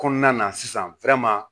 Kɔnɔna na sisan